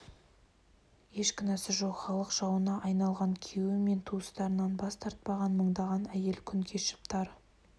еш кінәсі жоқ халық жауына айналған күйеуі мен туыстарынан бас тартпаған мыңдаған әйел күн кешіп тар